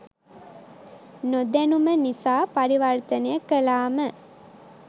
නොදැනුම නිසා පරිවර්තනය කලාම